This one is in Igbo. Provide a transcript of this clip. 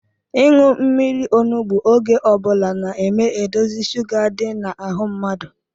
Ịṅụ mmiri onugbu oge ọbula na-eme edozi sụga di n’ahụ mmadụ